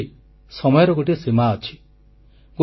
ଯାହାହେଲେ ବି ସମୟର ଗୋଟିଏ ସୀମା ଅଛି